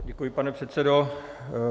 Děkuji, pane předsedo.